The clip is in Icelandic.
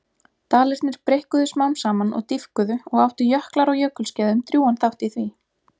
Dalirnir breikkuðu smám saman og dýpkuðu og áttu jöklar á jökulskeiðum drjúgan þátt í því.